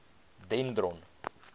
dendron